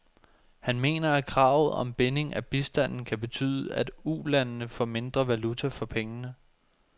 Han mener, at kravet om binding af bistanden kan betyde, at ulandene får mindre valuta for pengene.